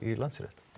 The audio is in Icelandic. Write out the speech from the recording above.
í Landsrétt